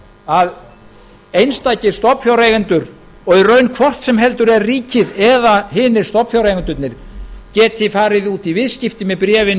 að einstakir stofnfjáreigendur og í raun hvort sem heldur er ríkið eða hinir stofnfjáreigendurnir geti farið út í viðskipti með bréfin